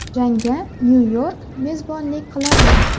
Jangga Nyu-York mezbonlik qiladi.